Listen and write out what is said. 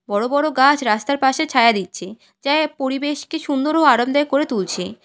বড় বড় গাছ রাস্তার পাশে ছায়া দিচ্ছে যা পরিবেশকে সুন্দর ও আরামদায়ক করে তুলছে।